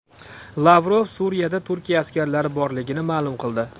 Lavrov Suriyada Turkiya askarlari borligini ma’lum qildi.